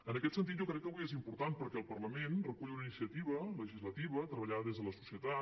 en aquest sentit jo crec que avui és important perquè el parlament recull una iniciativa legislativa treballada des de la societat